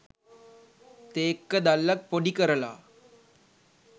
තේක්ක දල්ලක් පොඩි කරලා